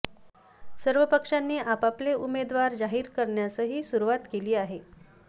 सर्व पक्षांनी आपापले उमेदवार जाहीर करण्यासही सुरुवात केली आहे